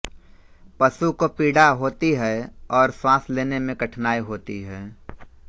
पशु को पीडा होती है और श्वास लेने में कठिनाई होती है